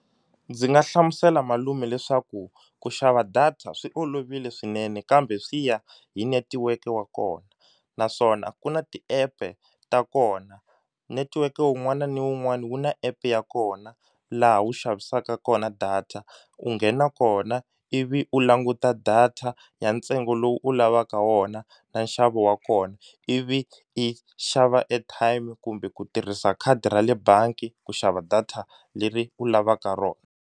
Ndzi nga hlamusela malume leswaku ku xava data swi olovile swinene kambe swi ya hi netiweke wa kona naswona ku na ti-app-e ta kona netiweke wun'wana ni wun'wani wu na app ya kona laha wu xavisaka kona data u nghena kona ivi u languta data ya ntsengo lowu u lavaka wona na nxavo wa kona ivi i xava airtime kumbe ku tirhisa khadi ra le bangi ku xava data leri u lavaka rona.